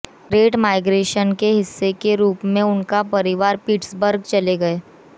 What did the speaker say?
great migration के हिस्से के रूप में उनका परिवार पिट्सबर्ग चले गए